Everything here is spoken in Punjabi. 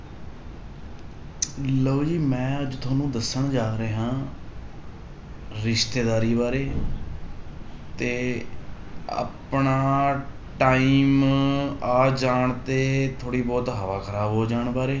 ਲਓ ਜੀ ਮੈਂ ਅੱਜ ਤੁਹਾਨੂੰ ਦੱਸਣ ਜਾ ਰਿਹਾਂ ਰਿਸ਼ਤੇਦਾਰੀ ਬਾਰੇ ਤੇ ਆਪਣਾ time ਆ ਜਾਣ ਤੇ ਥੋੜ੍ਹੀ ਬਹੁਤ ਹਵਾ ਖ਼ਰਾਬ ਹੋ ਜਾਣ ਬਾਰੇ